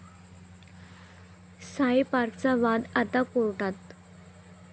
साई पार्क'चा वाद आता कोर्टात